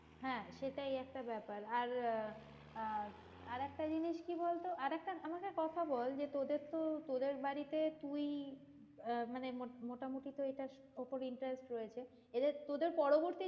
হ্যাঁ সেটাই একটা বেপার আর আহ আহ আরেকটা জিনিস কি বলতো আর একটা আমাকে কথা বল যে তোদের তো তোদের বাড়িতে তুই আহ মানে মোটামোটি তো এটার ওপর interest রয়েছে তোদের পরবর্তী